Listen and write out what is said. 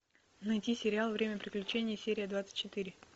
найти сериал время приключений серия двадцать четыре